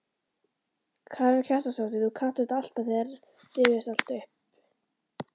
Karen Kjartansdóttir: Þú kannt þetta alltaf, þetta rifjast alltaf upp?